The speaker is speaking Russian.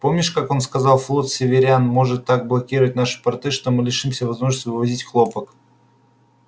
помнишь как он сказал флот северян может так блокировать наши порты что мы лишимся возможности вывозить хлопок